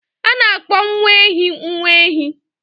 A na-akpọ nwa ehi nwa ehi.